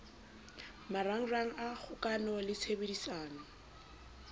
marangrang a kgokano le tshebedisano